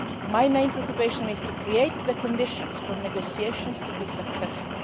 My main preoccupation is to create the conditions for negotiations to be successful.